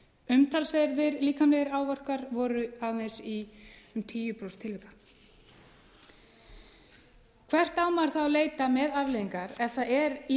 umtalsverðir líkamlegir áverkar voru aðeins í um tíu prósent tilvika hvert á maður þá að leita með afleiðingar ef það er í